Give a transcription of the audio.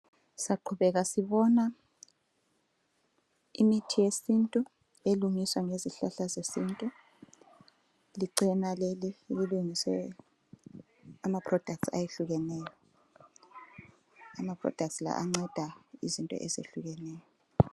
Syaqhubeka sibona imithi yesintu, elungiswa ngezihlahla zesintu. Licena leli elilungise ama products ayehlukeneyo, ama products la anceda izinto ezehlukeneyo.